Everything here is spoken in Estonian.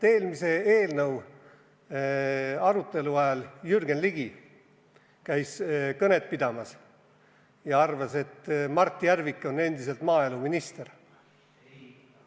Eelmise eelnõu arutelu ajal Jürgen Ligi käis kõnet pidamas ja arvas, et Mart Järvik on endiselt maaeluminister.